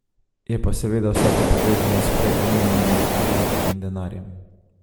Je pa seveda vse to povezano s prej omenjenimi urniki in denarjem.